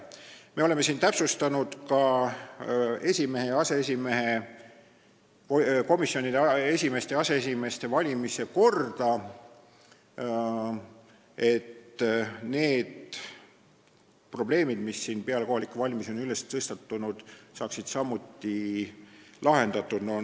Me oleme täpsustanud ka komisjonide esimeeste ja aseesimeeste valimise korda, et need probleemid, mis peale kohalikke valimisi on tekkinud, saaksid samuti lahendatud.